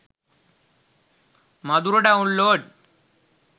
madura download